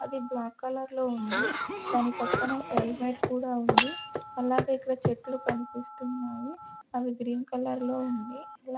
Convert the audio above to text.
అది black colour లో ఉంది దాని పక్కన ఒక హెల్మెట్ కూడా ఉంది అలాగే ఇక్కడ చెట్లు కనిపిస్తున్నాయి అవి గ్రీన్ కలర్ లో ఉంది అలా.